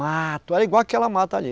Mato, era igual àquela mata ali.